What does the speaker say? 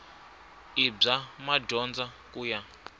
i bya madyondza ku ya